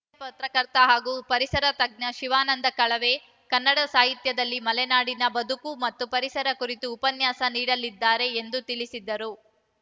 ಹಿರಿಯ ಪತ್ರಕರ್ತ ಹಾಗೂ ಪರಿಸರ ತಜ್ಞ ಶಿವಾನಂದ ಕಳವೆ ಕನ್ನಡ ಸಾಹಿತ್ಯದಲ್ಲಿ ಮಲೆನಾಡಿನ ಬದುಕು ಮತ್ತು ಪರಿಸರ ಕುರಿತು ಉಪನ್ಯಾಸ ನೀಡಲಿದ್ದಾರೆ ಎಂದು ತಿಳಿಸಿದ್ದರು